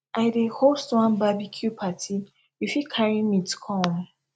i dey host one barbecue party you fit carry meat come